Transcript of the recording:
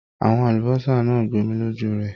Àwọn àlùbọ́sà náà gbomi lójú rẹ.